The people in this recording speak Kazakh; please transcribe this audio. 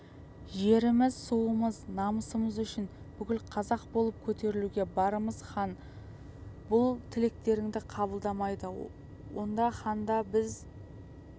жеріміз суымыз намысымыз үшін бүкіл қазақ болып көтерілуге бармыз хан бұл тілектеріңді қабылдамайды онда ханды біз